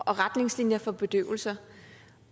og retningslinjer for bedøvelser